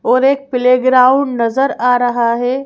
और एक प्लेग्राउंड नजर आ रहा है।